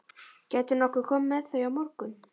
Gætirðu nokkuð komið með þau á morgun?